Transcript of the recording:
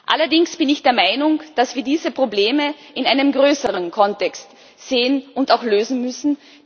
Allerdings bin ich der Meinung, dass wir diese Probleme in einem größeren Kontext sehen und auch lösen müssen.